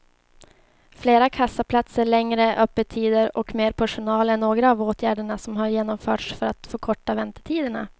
Fler kassaplatser, längre öppettider och mer personal är några av åtgärderna som har genomförts för att förkorta väntetiderna.